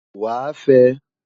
Wàá fẹ!